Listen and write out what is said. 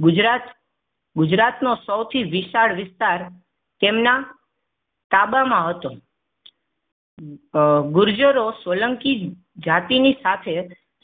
ગુજરાત ગુજરાત નો સૌથી વિશાળ વિસ્તાર તેમના તાબામાં હતો. ગુર્જરો સોલંકી જાતિની સાથે